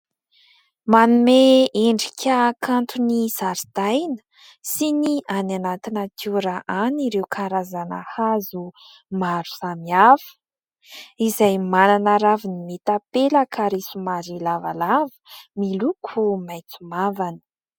Manome endrika kanto ny zaridaina sy ny any anaty natiora any ireo karazana hazo maro samihafa izay manana raviny mitapelaka ary somary lavalava miloko maitso mavana.